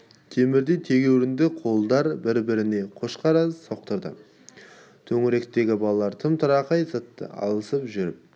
темірдей тегеуріңді қолдар бір-біріне қошқарша соқтырды төңіректегі балалар тырым-тырақай зытты алысып жүріп